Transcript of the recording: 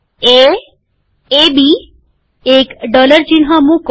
એ એબી એક ડોલર ચિહ્ન મુકો